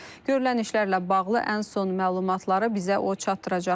Görülən işlərlə bağlı ən son məlumatları bizə o çatdıracaq.